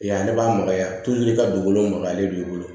Yan ale b'a magaya i ka dugukolo maka ale b'i bolo